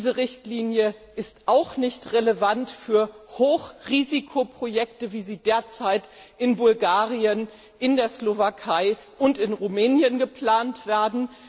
Diese Richtlinie ist auch nicht relevant für Hochrisikoprojekte, wie sie derzeit in Bulgarien, in der Slowakei und in Rumänien geplant werden.